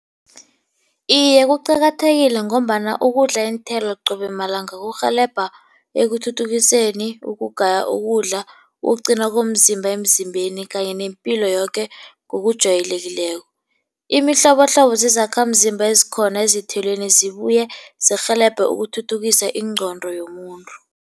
Iye, kuqakathekile ngombana ukudla iinthelo qobe malanga kurhelebha ekuthuthukiseni ukugaya ukudla, ukuqina komzimba emzimbeni kanye nempilo yoke ngokujwayelekileko. Imihlobohlobo zizakhamzimba ezikhona ezithelweni zibuye zirhelebhe ekuthuthukiseni ingqondo yomuntu.